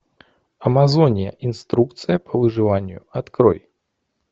амазония инструкция по выживанию открой